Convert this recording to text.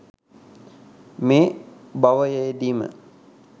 මේ භවයේදීම